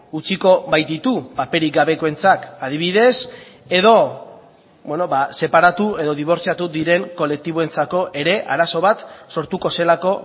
utziko baititu paperik gabekoentzat adibidez edo separatu edo dibortziatu diren kolektiboentzako ere arazo bat sortuko zelako